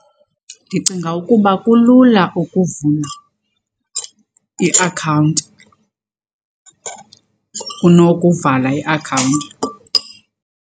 Ndicinga ukuba kulula ukuvula iakhawunti kunokuvala iakhawunti.